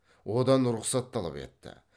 одан рұқсат талап етті